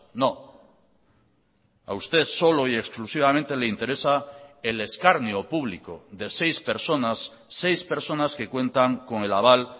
no a usted solo y exclusivamente le interesa el escarnio público de seis personas seis personas que cuentan con el aval